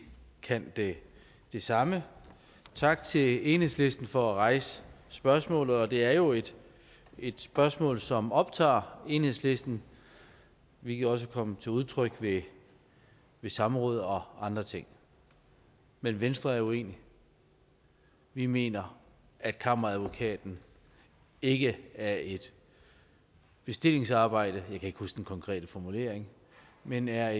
kan det det samme tak til enhedslisten for at rejse spørgsmålet det er jo et et spørgsmål som optager enhedslisten hvilket også kom til udtryk ved ved samråd og andre ting men venstre er uenig vi mener at kammeradvokaten ikke er et bestillingsarbejde jeg kan ikke huske den konkrete formulering men er